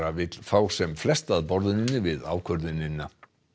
vill fá sem flesta að borðinu við ákvörðunina